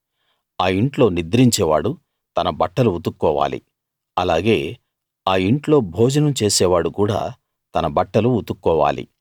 ఆ ఇంట్లో నిద్రించేవాడు తన బట్టలు ఉతుక్కోవాలి అలాగే ఆ ఇంట్లో భోజనం చేసేవాడు కూడా తన బట్టలు ఉతుక్కోవాలి